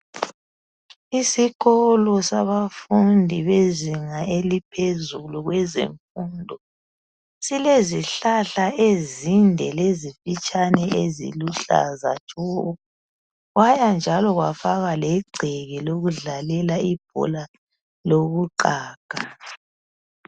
Isikolo sabafundi bezinga eliphezulu kwezefundo silezihlahla ezinde lezifitshane eziluhlaza tshoko kwaya njalo kwafaka legceke lokudlalela ibhola lokuqaga.